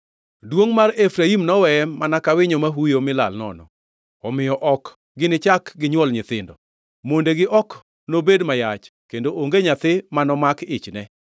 Duongʼ mar Efraim noweye mana ka winyo ma huyo mi lal nono, omiyo ok ginichak ginywol nyithindo, mondegi ok nobed ma yach kendo onge nyathi manomak ichne.